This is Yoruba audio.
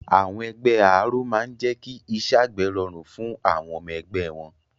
Àwọn ẹgbẹ́ Àáró máa n jẹ́ kí iṣẹ́ àgbẹ̀ rọrùn fún àwọn ọmọ ẹgbẹ́ wọn